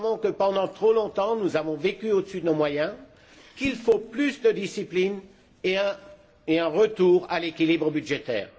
Nous savons que, pendant trop longtemps, nous avons vécu au dessus de nos moyens, qu'il faut plus de discipline et un retour à l'équilibre budgétaire.